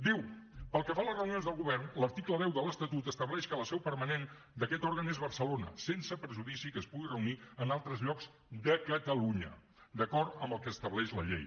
diu pel que fa a les reunions del govern l’article deu de l’estatut estableix que la seu permanent d’aquest òrgan és barcelona sense perjudici que es pugui reunir en altres llocs de catalunya d’acord amb el que estableix la llei